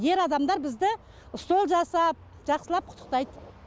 ер адамдар бізді стол жасап жақсылап құттықтайды